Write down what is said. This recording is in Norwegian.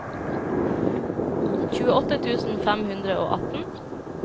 tjueåtte tusen fem hundre og atten